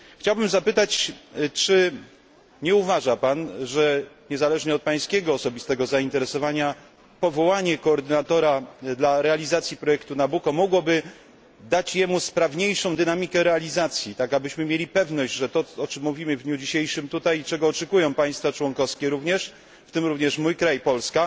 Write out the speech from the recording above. Chciałbym zapytać, czy nie uważa pan, że niezależnie od pańskiego osobistego zainteresowania powołanie koordynatora dla realizacji projektu Nabucco mogłoby nadać mu sprawniejszą dynamikę realizacji, tak abyśmy mieli pewność, że to, o czym mówimy w dniu dzisiejszym tutaj i czego oczekują również państwa członkowskie, w tym również mój kraj Polska,